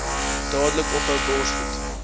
dadelik ophou borsvoed